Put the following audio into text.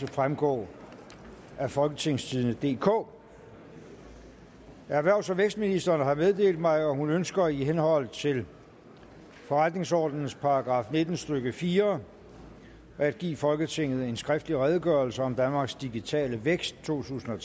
fremgå af folketingstidende DK erhvervs og vækstministeren har meddelt mig at hun ønsker i henhold til forretningsordenens § nitten stykke fire at give folketinget en skriftlig redegørelse om danmarks digitale vækst totusinde